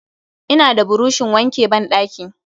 Ina da burushin wanke ban ɗaki